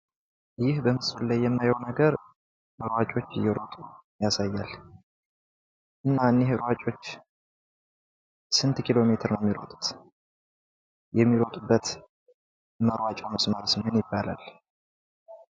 ይህ በምስሉ ላይ የምናየው ነገር ታዋቂዎች እየሮጡ ያሳያል እና እነዚህ ሯጮች ስንት ኪሎ ሜትር ነው የሚሮጡት? የሚሮጡበት መሯጯውስ ምን ይባላል?